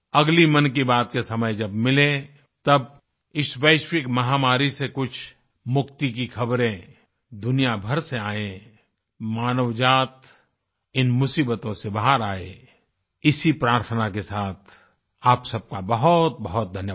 अगली मन की बात के समय जब मिलें तब इस वैश्विकमहामारी से कुछ मुक्ति की ख़बरें दुनिया भर से आएं मानवजात इन मुसीबतों से बाहर आए इसी प्रार्थना के साथ आप सबका बहुतबहुत धन्यवाद